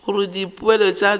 gore dipoelo tša go ithuta